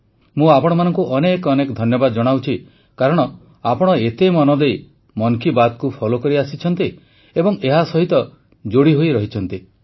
ମୁଁ ଆପଣମାନଙ୍କୁ ଅନେକ ଅନେକ ଧନ୍ୟବାଦ ଜଣାଉଛି କାରଣ ଆପଣ ଏତେ ମନ ଦେଇ ମନ୍ କି ବାତ୍କୁ ଫୋଲୋ କରିଆସିଛନ୍ତି ଏବଂ ଏହା ସହିତ ଯୋଡ଼ିହୋଇ ରହିଛନ୍ତି